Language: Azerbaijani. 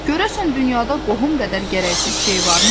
Görəsən dünyada qohum qədər gərəksiz şey varmı?